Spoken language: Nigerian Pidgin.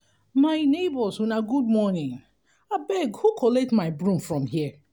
my nebors una good morning abeg who collect my broom from here.